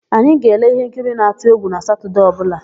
Anyị na-ele íhénkiri na-atụ égwù na Satọdee ọbụla.